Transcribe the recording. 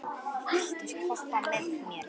Vigri, viltu hoppa með mér?